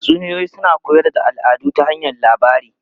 Tatsuniyoyi suna koyar da al'adu ta hanyar labari.